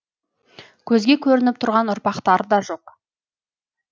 көзге көрініп тұрған ұрпақтары да жоқ